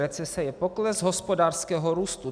Recese je pokles hospodářského růstu.